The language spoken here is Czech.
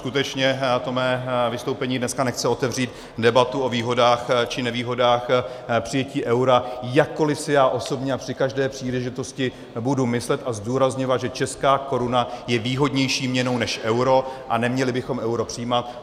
Skutečně to mé vystoupení dneska nechce otevřít debatu o výhodách či nevýhodách přijetí eura, jakkoli si já osobně a při každé příležitosti budu myslet a zdůrazňovat, že česká koruna je výhodnější měnou než euro a neměli bychom euro přijímat.